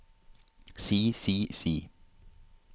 si si si